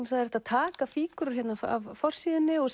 það er hægt að taka fígúrur af forsíðunni og